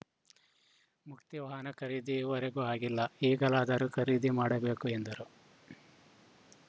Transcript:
ಮುಕ್ತಿ ವಾಹನ ಖರೀದಿ ಈ ವರೆಗೂ ಆಗಿಲ್ಲ ಈಗಲಾದರೂ ಖರೀದಿ ಮಾಡಬೇಕು ಎಂದರು